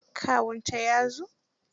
Kawunta ya zo.